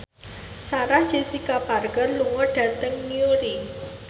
Sarah Jessica Parker lunga dhateng Newry